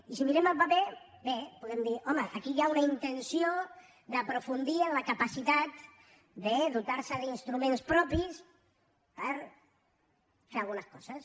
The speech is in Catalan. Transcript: i si mirem el paper bé podem dir home aquí hi ha una intenció d’aprofundir en la capacitat de dotar se d’instruments propis per fer algunes coses